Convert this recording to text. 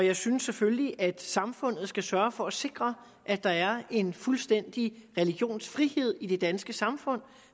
og jeg synes selvfølgelig at samfundet skal sørge for at sikre at der er en fuldstændig religionsfrihed i det danske samfund